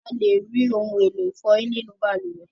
alè rí òun èló ifoyin nínú balùwẹ̀